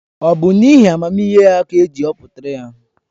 Ọ bụ n’ihi amamihe ya ka eji họpụtara ya?